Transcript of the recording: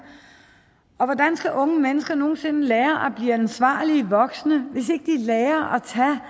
hvordan skal unge mennesker nogen sinde lære at blive ansvarlige voksne hvis ikke de lærer